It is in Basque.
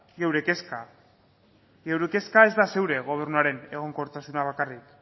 geure kezka geure kezka ez da zure gobernuaren egonkortasuna bakarrik